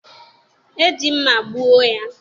e ji mma gbuo ya.